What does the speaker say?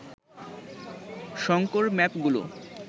Shankar ম্যাপগুলো